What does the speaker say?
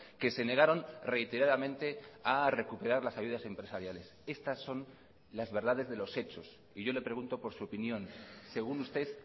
que se negaron reiteradamente a recuperar las ayudas empresariales estas son las verdades de los hechos y yo le pregunto por su opinión según usted